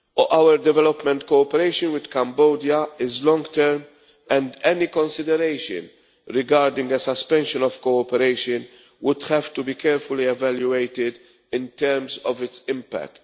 Our development cooperation with Cambodia is long term and any consideration regarding a suspension of cooperation would have to be carefully evaluated in terms of its impact.